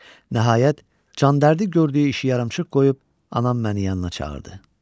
Nəhayət, candərdi gördüyü işi yarımçıq qoyub anam məni yanına çağırdı.